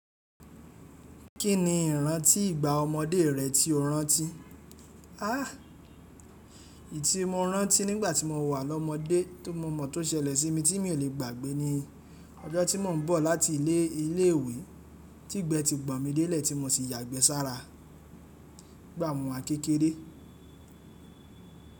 Kí ni ìrántí ìgbà ọmọdé rẹ tí o rántí? Áh! Èyí tí mo rántí nígbà tí mo wà lọ́mọdé ti mọ̀ mọ̀ tó ṣẹlẹ̀ sí mi tí mi ò lè gbàgbé ni ọjọ́ tí mo ń bọ̀ láti ilé ilé ìwé tí gbẹ́ ti gbọn mi dé lè tí mo sì yàgbẹ́ sára. Gbà mo wa n kékeré.